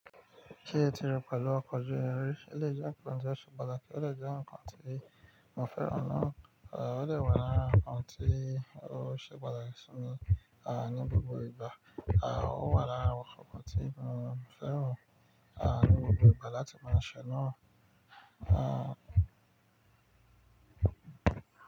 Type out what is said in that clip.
Ṣé o ti rín pẹ̀lú ọkọ̀ ojú irin? Elèyii jẹ́ nǹkan tó ṣe patlákì tí ó dè jẹ́ nǹkan tí mo fẹ́ràn náà. À ó dè wà lára ǹkan tí ó ṣe patáki si mi à ní gbogbo ìgbà. À ó wà lára àwọn ǹkan tí mo fẹ́ràn à ní gbogbo ìgbà láti máa ṣe náà. À.